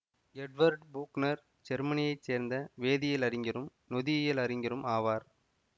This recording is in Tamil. எட்வர்டு பூக்னர் ஜெர்மனியைச் சேர்ந்த வேதியியல் அறிஞரும் நொதியியல் அறிஞரும் ஆவார்